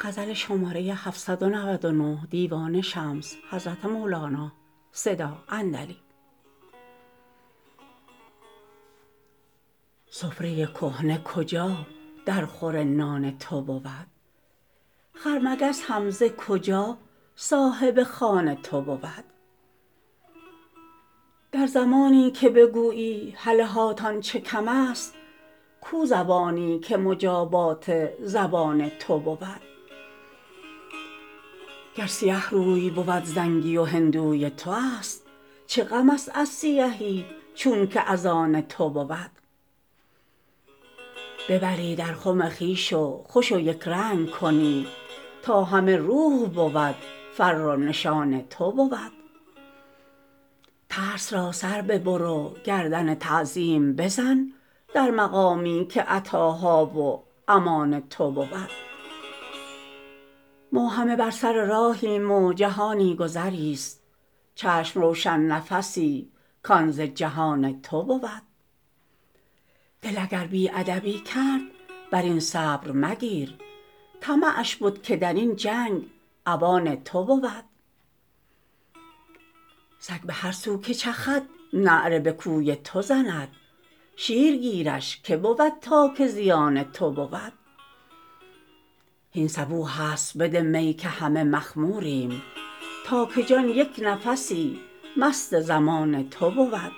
سفره کهنه کجا درخور نان تو بود خرمگس هم ز کجا صاحب خوان تو بود در زمانی که بگویی هله هان تان چه کمست کو زبانی که مجابات زبان تو بود گر سیه روی بود زنگی و هندوی توست چه غمست از سیهی چونک از آن تو بود ببری در خم خویش و خوش و یک رنگ کنی تا همه روح بود فر و نشان تو بود ترس را سر ببر و گردن تعظیم بزن در مقامی که عطاها و امان تو بود ما همه بر سر راهیم و جهانی گذرست چشم روشن نفسی کان ز جهان تو بود دل اگر بی ادبی کرد بر این صبر مگیر طمعش بد که در این جنگ عوان تو بود سگ به هر سو که چخد نعره به کوی تو زند شیرگیرش که بود تا که زیان تو بود هین صبوحست بده می که همه مخموریم تا که جان یک نفسی مست ضمان تو بود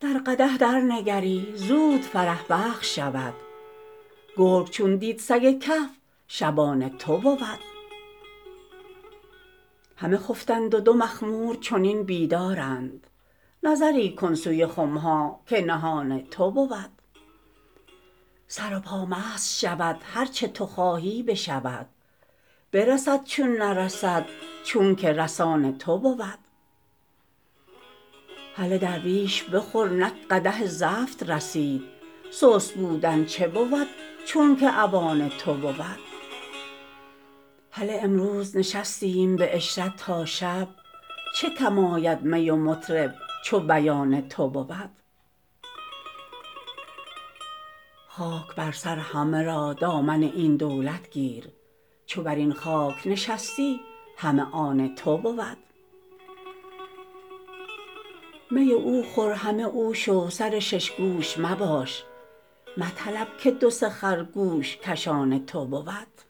در قدح درنگری زود فرح بخش شود گرگ چون دید سگ کهف شبان تو بود همه خفتند و دو مخمور چنین بیدارند نظری کن سوی خم ها که نهان تو بود سر و پا مست شود هر چه تو خواهی بشود برسد چون نرسد چونک رسان تو بود هله درویش بخور نک قدح زفت رسید سست بودن چه بود چونک اوان تو بود هله امروز نشستیم به عشرت تا شب چه کم آید می و مطرب چو بیان تو بود خاک بر سر همه را دامن این دولت گیر چو بر این خاک نشستی همه آن تو بود می او خور همه او شو سر شش گوش مباش مطلب که دو سه خر گوش کشان تو بود